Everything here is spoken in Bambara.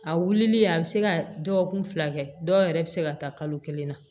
A wulilen a bɛ se ka dɔgɔkun fila kɛ dɔw yɛrɛ bɛ se ka taa kalo kelen na